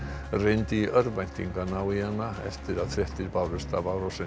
reyndi í örvæntingu að ná í hana eftir að fréttir bárust af árásinni